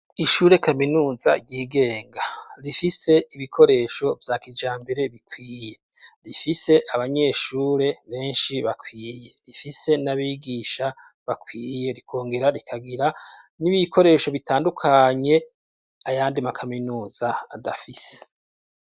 Ishure kaminuza ryigenga. Rifise ibikoresho vya kijambere bikwiye. Rifise abanyeshure benshi bakwiye. Rifise n'abigisha bakwiye, rikongera rikagira n'ibikoresho bitandukanye ayandi makaminuza adafise.